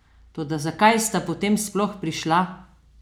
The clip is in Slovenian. Toda zakaj sta potem sploh prišla?